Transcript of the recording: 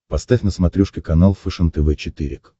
поставь на смотрешке канал фэшен тв четыре к